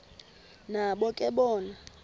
nabo ke bona